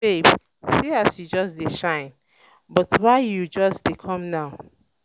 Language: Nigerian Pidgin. babe see as you just dey shine but why you just dey come now )